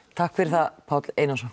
takk fyrir það Páll Einarsson